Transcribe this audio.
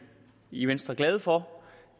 i venstre glade for